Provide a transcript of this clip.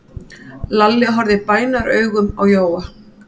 Lalli horfði bænaraugum á Jóa.